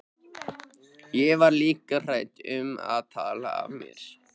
Ég var líka hrædd um að tala af mér.